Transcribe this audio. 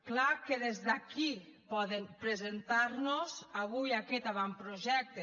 clar que des d’aquí poden presentar nos avui aquest avantprojecte